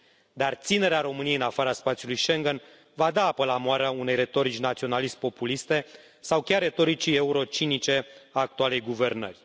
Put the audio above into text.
Dar ținerea României în afara spațiului Schengen va da apă la moară unei retorici naționalist populiste sau chiar retoricii euro cinice a actualei guvernări.